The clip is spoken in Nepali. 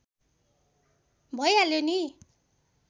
भैहाल्यो नि